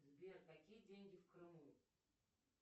сбер какие деньги в крыму